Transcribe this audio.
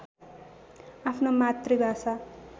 आफ्नो मातृभाषा